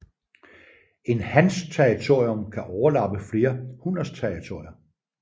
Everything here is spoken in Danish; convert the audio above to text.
En hans territorium kan overlappe flere hunners territorier